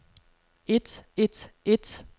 et et et